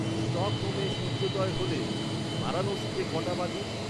স্টকহোমে সূর্যোদয় হলে বারাণসীতে কটা বাজে?